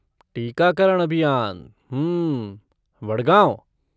टीकाकरण अभियान, हम्म, वडगाँव।